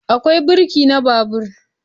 Akwai birki na babur